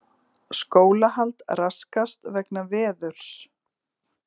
Skólahald raskast vegna veðurs